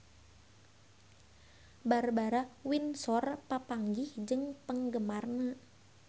Barbara Windsor papanggih jeung penggemarna